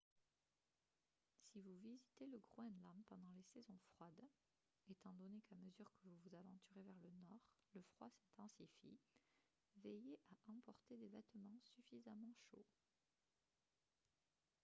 si vous visitez le groenland pendant les saisons froides étant donné qu'à mesure que vous vous aventurez vers le nord le froid s'intensifie veillez à emporter des vêtements suffisamment chauds